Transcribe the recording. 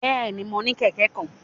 Bẹẹni, Mo ni kẹkẹ kan